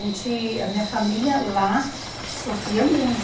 Gente, a minha família lá sofria muito.